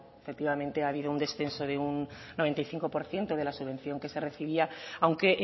efectivamente ha habido un descenso de un noventa y cinco por ciento de la subvención que se recibía aunque